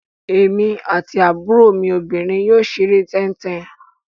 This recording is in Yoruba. Èmi àti àbúrò mi obìnrin yóò ṣeré tẹ́ń-tẹn.